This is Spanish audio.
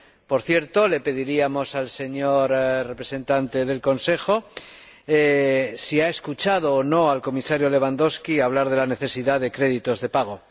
Por cierto, le preguntaríamos al señor representante del Consejo si ha escuchado o no al Comisario Lewandowski hablar de la necesidad de créditos de pago.